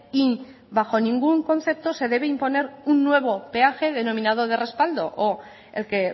y bajo ningún concepto se debe imponer un nuevo peaje denominado de respaldo o el que